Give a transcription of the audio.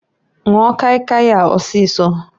Nwụọ kai kai a ọsịsọǃ